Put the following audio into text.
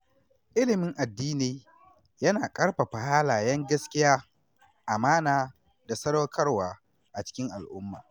Ilimin addini yana ƙarfafa halayen gaskiya, amana da sadaukarwa a cikin al’umma.